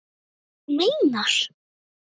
Þú meinar!